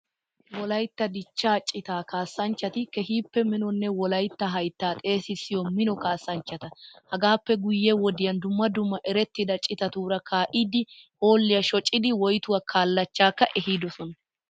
Wolaytta dichchaa citaa kaassanchati keehippe minonne wolaytta hayttaa xeesisiya mino kaassanchchata. Hagaappe guyye wodiyan dumma dumma erettida citatuura kaa"idi hoolliyaa shocidi woytuwaa kallachaakka ehidosona.